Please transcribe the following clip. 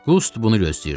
Qust bunu gözləyirdi.